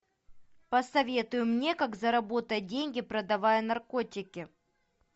посоветуй мне как заработать деньги продавая наркотики